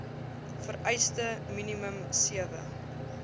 vereiste minimum sewe